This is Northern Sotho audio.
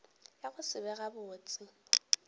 ya go se be gabotse